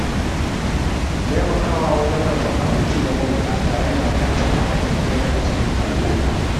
Taimakawa wajen rabon abinci ga mabukata yana ƙarfafa haɗin kai a cikin al’umma.